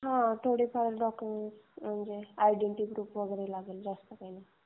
थोडेफार डॉक्युमेंट म्हणजे I D proof लागेल. बाकी जास्त काही नाही.